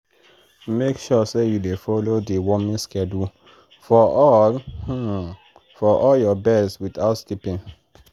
make sure say you dey follow deworming schedule for all for all your birds without skipping.